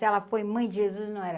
Se ela foi mãe de Jesus, não era.